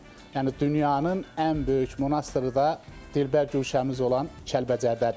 Yəni dünyanın ən böyük monastırı da dilbər guşəmiz olan Kəlbəcərdədir.